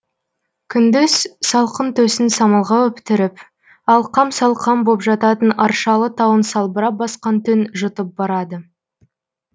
күндіз салқын төсін самалға өптіріп алқам салқам боп жататын аршалы тауын салбырап басқан түн жұтып барады